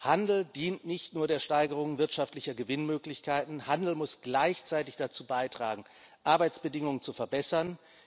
Handel dient nicht nur der Steigerung wirtschaftlicher Gewinnmöglichkeiten, Handel muss gleichzeitig dazu beitragen, Arbeitsbedingungen zu verbessern.